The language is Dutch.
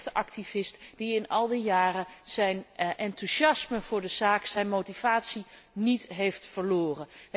Een mensenrechtenactivist die in al die jaren zijn enthousiasme voor de zaak, zijn motivatie niet heeft verloren.